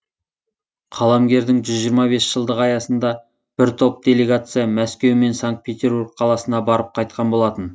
қаламгердің жүз жиырма бес жылдығы аясында бір топ делегация мәскеу мен санкт петербург қаласына барып қайтқан болатын